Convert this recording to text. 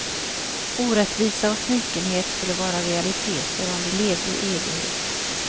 Orättvisa och snikenhet skulle vara realiteter om vi levde i evighet.